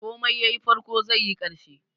Komai yayi farko, zaiyi ƙarshe.